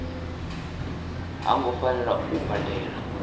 ha ngo fanela u badela